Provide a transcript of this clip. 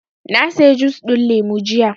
Na saya jus ɗin lemu jiya